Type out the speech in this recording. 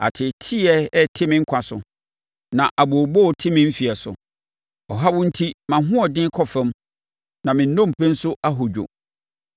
Ateeteeɛ rete me nkwa so na abooboo te me mfeɛ so; ɔhaw enti mʼahoɔden kɔ fam na me nnompe nso ahodwo.